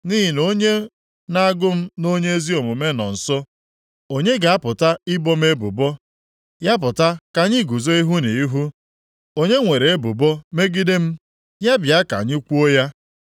Nʼihi na onye na-agụ m nʼonye ezi omume nọ nso. Onye ga-apụta ibo m ebubo? Ya pụta ka anyị guzo ihu na ihu! Onye nwere ebubo megide m? Ya bịa ka anyị kwuo ya.